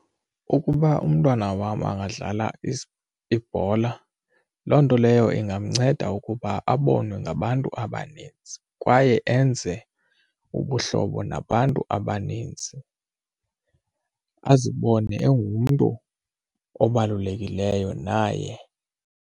Ukuba umntwana wam angadlala ibhola loo nto leyo ingamnceda ukuba abonwe ngabantu abaninzi kwaye enze ubuhlobo nabantu abaninzi, azibone engumntu obalulekileyo naye.